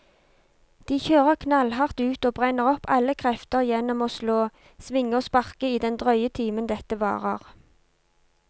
De kjører knallhardt ut og brenner opp alle krefter gjennom å slå, svinge og sparke i den drøye timen dette varer.